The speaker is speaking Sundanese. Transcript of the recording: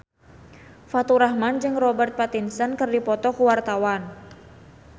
Faturrahman jeung Robert Pattinson keur dipoto ku wartawan